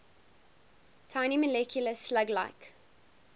tiny multicellular slug like